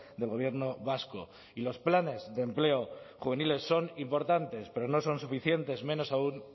del gobierno vasco y los planes de empleo juvenil son importantes pero no son suficientes menos aun